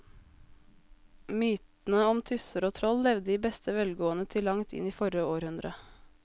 Mytene om tusser og troll levde i beste velgående til langt inn i forrige århundre.